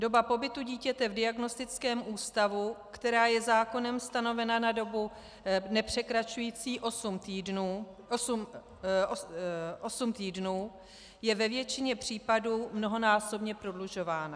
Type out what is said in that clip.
Doba pobytu dítěte v diagnostickém ústavu, která je zákonem stanovena na dobu nepřekračující osm týdnů, je ve většině případů mnohonásobně prodlužována.